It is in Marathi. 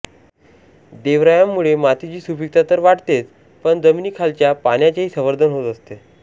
देवरायांमुळे मातीची सुपीकता तर वाढतेच पण जमिनीखालच्या पाण्याचेही संवर्धन होत असते